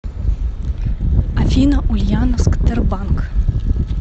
афина ульяновск тербанк